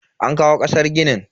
An kawo kasar ginin.